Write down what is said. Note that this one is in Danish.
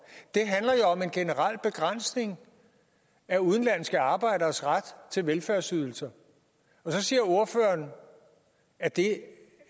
en generel begrænsning af udenlandske arbejderes ret til velfærdsydelser så siger ordføreren at det